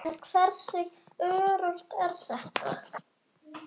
En hversu öruggt er þetta?